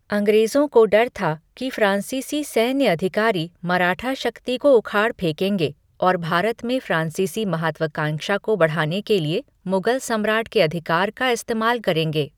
अंग्रेजों को डर था कि फ्रांसीसी सैन्य अधिकारी मराठा शक्ति को उखाड़ फेंकेंगे और भारत में फ्रांसीसी महत्वाकांक्षा को आगे बढ़ाने के लिए मुगल सम्राट के अधिकार का इस्तेमाल करेंगे।